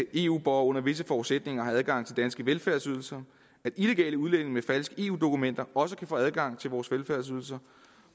eu borgere under visse forudsætninger har adgang til danske velfærdsydelser at illegale udlændinge med falske eu dokumenter også kan få adgang til vores velfærdsydelser